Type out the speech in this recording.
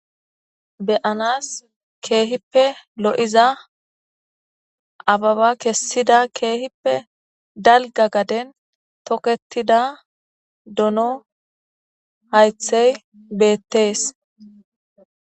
be7anas keehippe lo7iza ababa kessida keehippe dalga gaden toketida dono haythey beettees